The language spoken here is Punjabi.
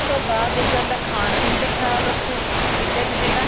ਉਸ ਤੋ ਬਾਅਦ ਦੂਜਾ ਆਂਦਾ ਖਾਣ ਪੀਣ ਤੇ ਖਿਆਲ ਰੱਖੋ ਠੀਕ ਏ ਜੀ ਜਿੰਨਾ